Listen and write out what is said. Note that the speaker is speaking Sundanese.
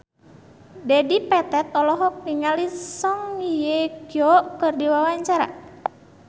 Dedi Petet olohok ningali Song Hye Kyo keur diwawancara